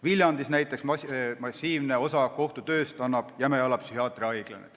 Viljandis annab massiivse osa kohtu tööst Jämejala psühhiaatriahaigla.